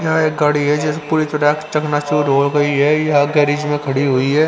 यहाँ एक गाड़ी है पूरी तरह चखना चूर हो गई है यहां गैरेज में खड़ी हुई है.